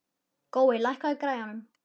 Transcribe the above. Gói, lækkaðu í græjunum.